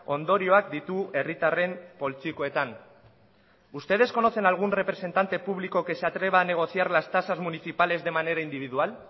ondorioak ditu herritarren poltsikoetan ustedes conocen a algún representante público que se atreva a negociar las tasas municipales de manera individual